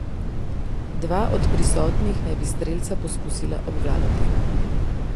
Dva od prisotnih naj bi strelca poskusila obvladati.